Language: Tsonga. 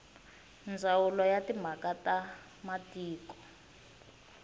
ndzawulo ya timhaka ta matiko